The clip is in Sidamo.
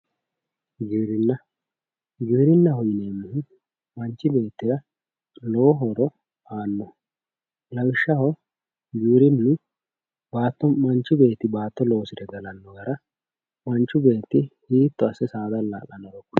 giwirinna giwirinnaho yinannihu manchi beettira lowo horo aannoho lawishshaho baatto manchi beetti baatto loosire galanno gara manchi beetti hiitto asse saada alla'lannoro kulannoho.